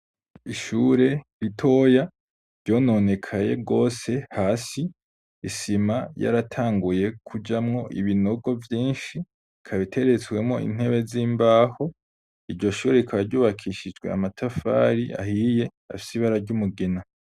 Ishure ritoya ryononekaye gose hasi, isima yaratanguye kujamwo ibinogo vyinshi, ikaba iteretswemwo intebe z'imbaho, iryo shure rikaba ryubakishijwe amatafari ahiye afise ibara ry'umugina.